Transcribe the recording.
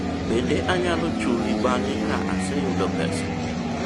bende anyalo chuli bang'e ka aseyudo pesa?